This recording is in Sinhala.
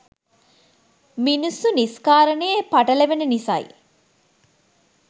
මිනිස්සු නිස්කාරනේ පටලවෙන නිසයි